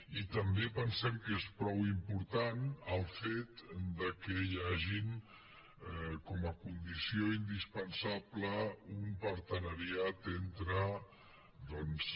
i també pensem que és prou important el fet que hi hagi com a condició indispensable un partenariat entre doncs